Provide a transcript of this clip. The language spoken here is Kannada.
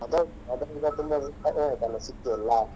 ಅದು ಹೌದು ಅದು ಎಲ್ಲ ತುಂಬಾ ಸಿಕ್ಕಿ ಎಲ್ಲ.